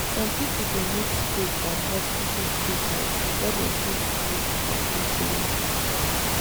some people dey mix faith and hospital treatment before dem fit feel complete healing.